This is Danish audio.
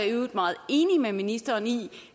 i øvrigt meget enig med ministeren i